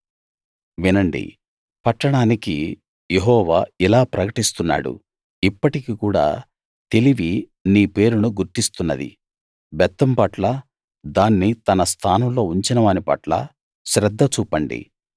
వినండి పట్టణానికి యెహోవా ఇలా ప్రకటిస్తున్నాడు ఇప్పటికి కూడా తెలివి నీ పేరును గుర్తిస్తున్నది బెత్తం పట్ల దాన్ని తన స్థానంలో ఉంచిన వాని పట్ల శ్రద్ధ చూపండి